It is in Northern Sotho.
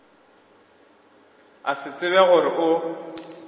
a se tsebe gore o